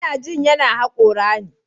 Ina jin yana hakora ne.